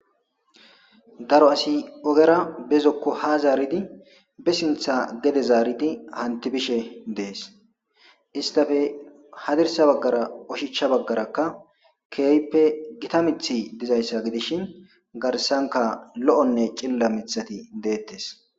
daro asi ogera bezokko ha zaaridi be sintha gede zaaridi hanti bishe dees istafe hadirsa baggara oshichcha baggarakka keeyppe gita mithi dizayssa gidishin garsanka lo7onne cilla mithati deettes